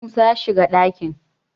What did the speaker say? musa ya shiga dakin!